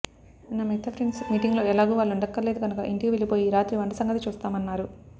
నా మిగతా friends meeting లో ఎలాగూ వాళ్ళుండక్కర్లేదు కనుక ఇంటికి వెళ్ళిపోయి రాత్రి వంట సంగతి చూస్తామన్నారు